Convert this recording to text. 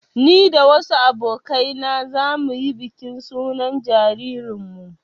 Ni da wasu abokai na za mu yi bikin sunan jaririnmu